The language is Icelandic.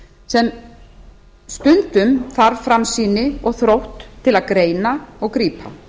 sem stundum þarf framsýni og þrótt til að greina og grípa